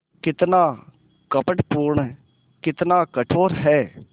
कितना कपटपूर्ण कितना कठोर है